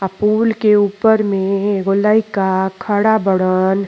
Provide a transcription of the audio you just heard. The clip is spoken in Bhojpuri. आ पूल के ऊपर में एगो लईका खड़ा बड़न।